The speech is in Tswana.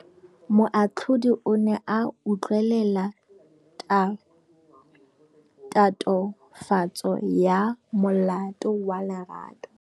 Moatlhodi o ne a utlwelela tatofatsô ya molato wa Lerato.